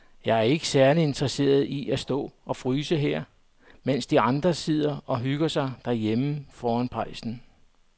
Jeg er ikke særlig interesseret i at stå og fryse her, mens de andre sidder og hygger sig derhjemme foran pejsen.